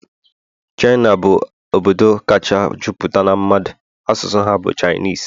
China bụ obodo kacha juputa n'a mmadu, asụsụ ha bu Chinese